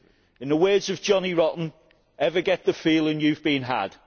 In the words of Johnny Rotten, ever get the feeling you have been had?